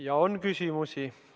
Ja on küsimusi.